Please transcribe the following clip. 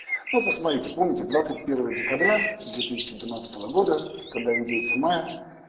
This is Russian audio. ну посмотрите помните двадцать первого декабря две тысячи двенадцатого года когда индейцы майя